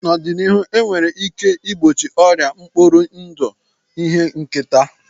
N'ọdịnihu, e nwere ike igbochi ọrịa mkpụrụ ndụ ihe nketa.